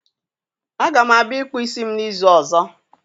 a ga m abia ikpu isi m n'izu ozo.